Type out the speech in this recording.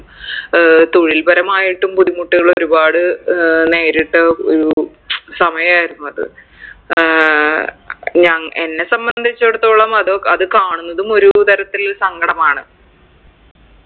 ഏർ തൊഴിൽപരമായിട്ടും ബുദ്ധിമുട്ടുകൾ ഒരുപാട് ഏർ നേരിട്ട ഒരു സമയായിരുന്നു അത് ഏർ ഞങ് എന്നെ സംബന്ധിച്ചെടത്തോളം അത് അത് കാണുന്നതും ഒരു തരത്തിൽ സങ്കടമാണ്